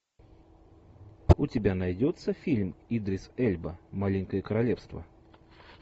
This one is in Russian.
у тебя найдется фильм идрис эльба маленькое королевство